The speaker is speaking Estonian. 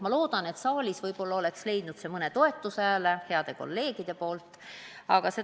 Ma loodan, et siin saalis oleks see headelt kolleegidelt saanud võib-olla mõne toetushääle.